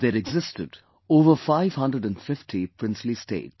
There existed over 550 princely states